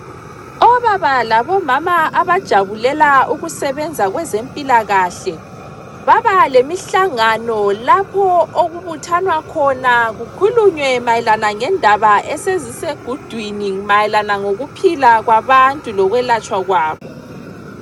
Obaba labomama abajabulela ukusebenza kwezempilakahle baba lemihlangano lapho okubuthwana khona kukhulunywe mayelana ngendaba esezisegudwini , mayelana ngokuphila kwabantu lokwelatshwa kwabo.